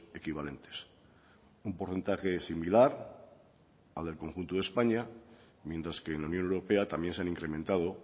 equivalentes un porcentaje similar al del conjunto de españa mientras que en la unión europea también se han incrementado